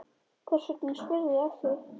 Hvers vegna spyrðu að því?